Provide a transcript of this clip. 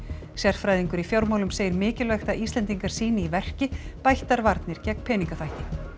sérfræðingur í fjármálum segir mikilvægt að Íslendingar sýni í verki bættar varnir gegn peningaþvætti